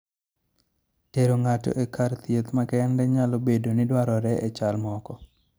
Tero ng�ato e kar thieth makende nyalo bedo ni dwarore e chal moko.